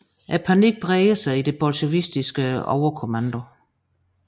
Panikken breder sig i den bolsjevikiske overkommando